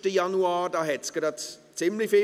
Am 21. Januar gab es ziemlich viele.